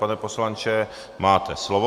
Pane poslanče, máte slovo.